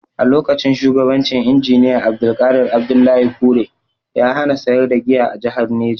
A lokacin shugabancin Injiniya Abdulqadir Abdullahi Kure, ya hana sayar da giya a jahar Neja.